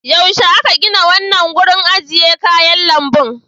Yaushe aka gina wannan wurin ajiye kayan lambun?